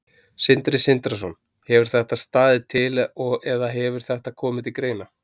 Sindri Sindrason: Hefur þetta staðið til eða hefur þetta komið til greina?